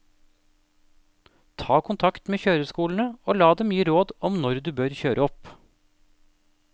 Ta kontakt med kjøreskolene og la dem gi råd om når du bør kjøre opp.